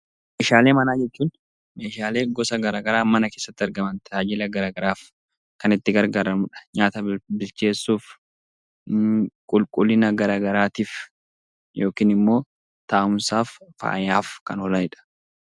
Meeshaalee manaa jechuun meeshaalee gosa gara garaa mana keessatti argaman tajaajila gara garaaf kan itti gargaaramnu dha. Nyaata bilcheessuuf, qulqullina gara garaatiif yookiin immoo taa'umsaaf, faayaaf kan oolani dha.